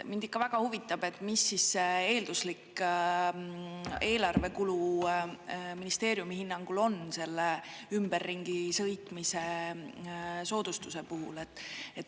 Mind väga huvitab, mis eelduslik eelarvekulu ministeeriumi hinnangul on selle ümberringi sõitmise soodustuse puhul.